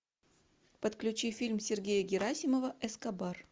подключи фильм сергея герасимова эскобар